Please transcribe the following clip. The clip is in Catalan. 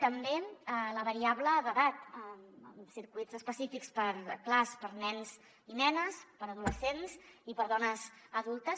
també la variable d’edat circuits específics clars per a nens i nenes per a adolescents i per a dones adultes